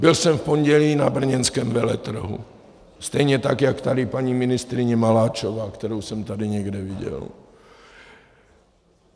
Byl jsem v pondělí na brněnském veletrhu, stejně tak jak tady paní ministryně Maláčová, kterou jsem tady někde viděl.